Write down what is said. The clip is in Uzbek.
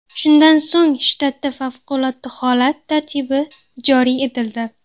Shundan so‘ng shtatda favqulodda holat tartibi joriy etildi.